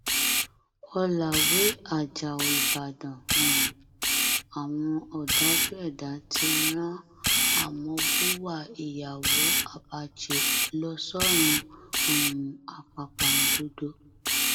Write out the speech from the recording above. ọlàwé ajáò ìbàdàn um àwọn ọdájú ẹdá ti rán amọ buwa ìyàwó abache lọ sọrun um àpàpàǹdodo